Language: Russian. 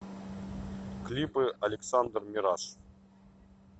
клипы александр мираж